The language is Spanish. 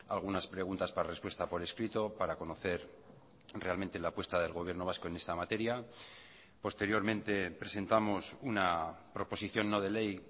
algunas preguntas para respuesta por escrito para conocer realmente la apuesta del gobierno vasco en esta materia posteriormente presentamos una proposición no de ley